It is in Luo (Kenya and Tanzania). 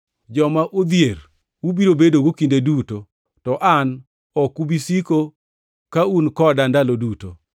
Joma odhier ubiro bedogo kinde duto to an ok ubi siko ka un koda ndalo duto.